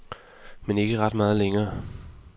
Men ikke ret meget længere.